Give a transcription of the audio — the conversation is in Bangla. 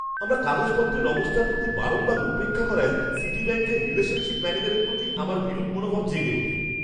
আমার কাগজপত্রের অবস্থার প্রতি বারংবার উপেক্ষা করায় সিটিব্যাঙ্কের রিলেশনশিপ ম্যানেজারের প্রতি আমার বিরূপ মনোভাব জেগে ওঠে।